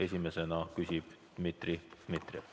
Esimesena küsib Dmitri Dmitrijev.